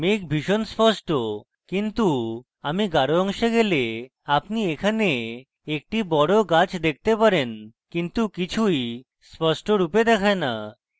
মেঘ ভীষণ স্পষ্ট কিন্তু আমি গাঢ় অংশে গেলে আপনি এখানে একটি বড় গাছ দেখতে পারেন কিন্তু কিছুই স্পষ্টরূপে দেখায় the